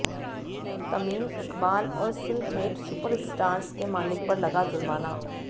तमीम इकबाल और सिलहेट सुपरस्टार्स के मालिक पर लगा जुर्माना